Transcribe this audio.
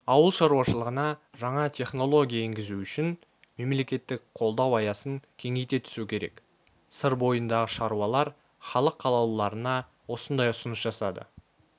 ауыл шаруашылығына жаңа технология енгізу үшін мемлекеттік қолдау аясын кеңейте түсу керек сыр бойындағы шаруалар халық қалаулыларына осындай ұсыныс жасады